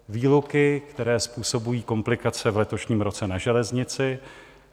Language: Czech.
Výluky, které způsobují komplikace v letošním roce na železnici.